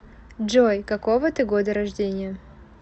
джой какого ты года рождения